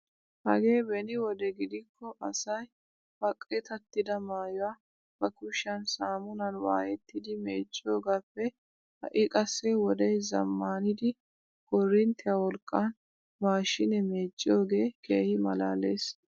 Hagee beni wode gidikko asay ba qitattida maayuwaa ba kushiyaan samunan waayettidi mecciyoogappe ha'i qassi wodee zammaanidi korinittiyaa wolqqan maashinee meecciyoogee keehi malaales!